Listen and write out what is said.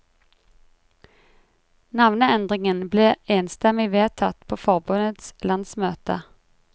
Navneendringen ble enstemmig vedtatt på forbundets landsmøte.